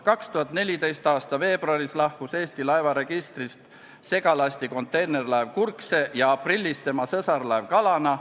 2014. aasta veebruaris lahkus Eesti laevaregistrist segalasti-konteinerlaev Kurkse ja aprillis tema sõsarlaev Kalana.